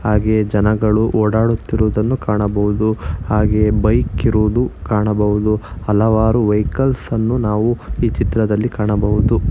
ಹಾಗೆ ಜನಗಳು ಓಡಾಡುತಿರುವುದನ್ನು ಕಾಣಬಹುದು ಹಾಗೆ ಬೈಕ್ ಇರುವುದು ಕಾಣಬಹುದು ಹಲವಾರು ವೆಹಿಕಲ್ಸ್ ಅನ್ನು ಈ ಚಿತ್ರದಲ್ಲಿ ಕಾಣಬಹುದು.